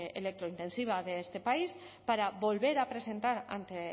electro intensiva de este país para volver a presentar ante